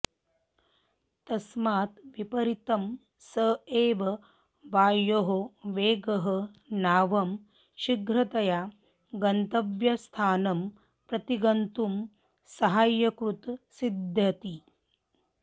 तस्मात् विपरीतं स एव वायोः वेगः नावं शीघ्रतया गन्तव्यस्थानं प्रति गन्तुं सहायकृत् सिद्ध्यति